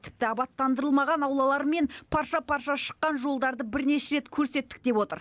тіпті абаттандырылмаған аулалары мен парша паршасы шыққан жолдарды бірнеше рет көрсеттік деп отыр